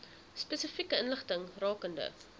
spesifieke inligting rakende